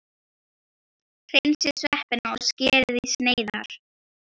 Hreinsið sveppina og skerið í sneiðar.